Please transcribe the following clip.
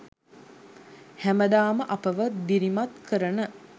හැමදාම අපව දිරිමත් කරන